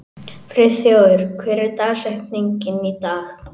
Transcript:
Friðþjófur, hver er dagsetningin í dag?